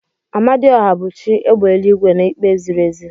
Amadiohia bu chi égbè eluigwe na ikpe ziri ezi.